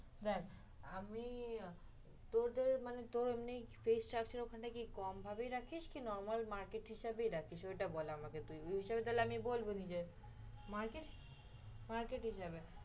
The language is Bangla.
দেখ, আমি তোদের মানে তোর এমনি fees চাচ্ছিস ওখানে থেকে কম ভাবেই রাখিস কি normal market হিসাবেই রাখিস। ওইটা বল আমাকে তুই, ঐ হিসাবে বলবো নিজে